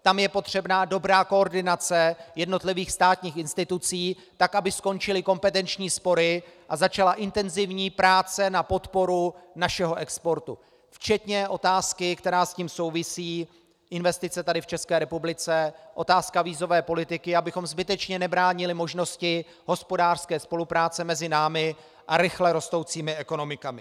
Tam je potřebná dobrá koordinace jednotlivých státních institucí, tak aby skončily kompetenční spory a začala intenzivní práce na podpoře našeho exportu, včetně otázky, která s tím souvisí, investic tady v České republice, otázky vízové politiky, abychom zbytečně nebránili možnosti hospodářské spolupráce mezi námi a rychle rostoucími ekonomikami.